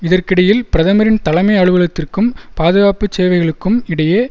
இதற்கிடையில் பிரதமரின் தலைமை அலுவலகத்திற்கும் பாதுகாப்பு சேவைகளுக்கும் இடையே